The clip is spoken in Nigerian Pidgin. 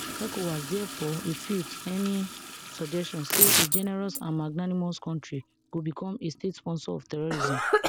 ecowas diafore refute any suggestion say a generous and magnanimous kontri go becom a statesponsor of terrorism